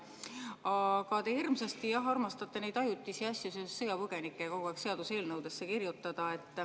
Aga te hirmsasti armastate neid ajutisi asju seoses sõjapõgenikega kogu aeg seaduseelnõudesse kirjutada.